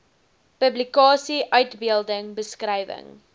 publikasie uitbeelding beskrywing